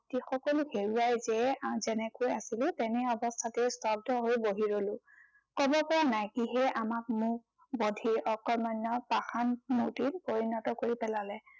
সকলো হেৰুৱাই যেই যেনেকৈ আছিলো তেনে অৱস্থাতেই স্তব্ধ হৈ বহি ৰলো। কব পৰা নাই কিহে আমাক মুক বধিৰ অকৰ্মণ্য় পাষাণ মুৰ্তিত পৰিণত কৰি পেলালে।